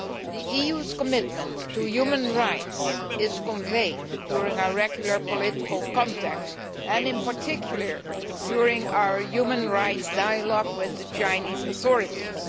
The EU's commitment to human rights is conveyed during our regular political contacts and, in particular, during our human rights dialogue with the Chinese authorities.